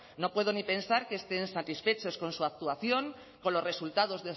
no puedo ni pensar que estén satisfechos con su actuación con los resultados